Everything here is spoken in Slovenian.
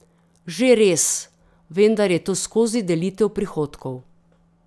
Že res, vendar je to skozi delitev prihodkov.